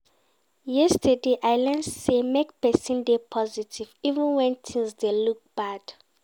Yesterday, I learn sey make pesin dey positive, even wen tins dey look bad.